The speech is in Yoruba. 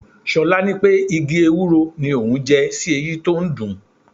Ṣolá ní pé igi Ewúro ni òun jẹ sí eyín tó ń dùn-ún.